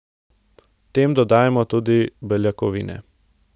Tem dodajmo tudi beljakovine.